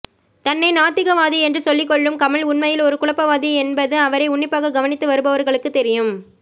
தன்னை நாத்திகவாதி என்று சொல்லிக்கொள்ளும் கமல் உண்மையில் ஒரு குழப்பவாதி என்பது அவரை உன்னிப்பாக கவனித்து வருபவர்களுக்குத் தெரியும்